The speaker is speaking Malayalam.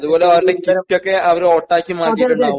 അതുപോലെ അവരുടെ കിറ്റൊക്കെ അവർ വോട്ടാക്കി മാറ്റിയിട്ടുണ്ടാകും